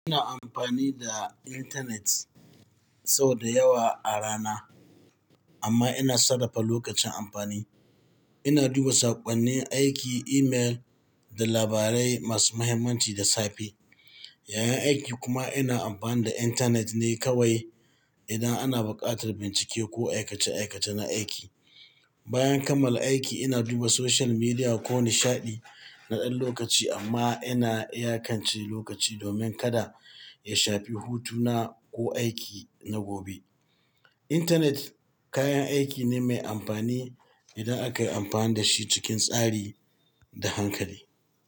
Ina amfani da internet sau da yawa a rana, amma ina sarrafa lokacin amfani. Ina duba saƙonnin aiki, email da labarai masu mahimmanci da safe. Yayin aiki kuma ina amfani da internet ne kawai idan ana buƙatar bincike ko aikace-aikace na aiki. Bayan kammala aiki ina duba social media ko nishaɗi na ɗan lokaci amma ina iyakance lokaci domin kada ya shafi hutuna ko aiki na gobe. Internet kayan aiki ne mai amfani idan aka yi amfani da shi cikin tsari da hankali.